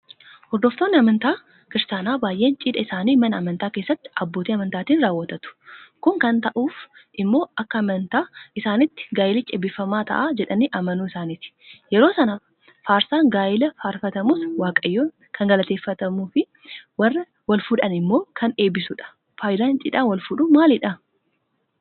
Hordoftoonni amantaa Kiristaanaa baay'een Cidha isaanii mana amantaa keessatti abbootii amantaatiin raawwatatu. Kun kan ta'uuf immoo akka amantaa isaaniitti gaayilichi eebbifamaa ta'a jedhanii amanuu isaaniiti. Yeroo sana Faarsaan gaayilaa faarfatamus Waaqayyoon kan galateeffatuufi Warra walfuudhan immoo kan eebbisudha. Faayidaan Cidhaan walfuudhuu maalidha?